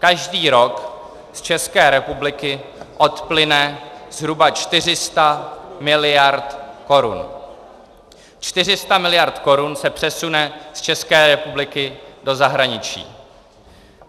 Každý rok z České republiky odplyne zhruba 400 miliard korun, 400 miliard korun se přesune z České republiky do zahraničí.